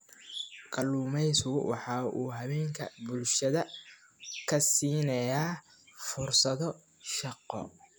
Kalluumaysigu waxa uu haweenka bulshada ka siinayaa fursado shaqo.